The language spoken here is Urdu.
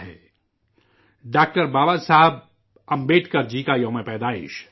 وہ ہے 14 اپریل ڈاکٹر بابا صاحب امبیڈکر جی کا یوم پیدائش